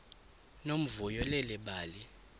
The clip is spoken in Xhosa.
nomvuyo leli bali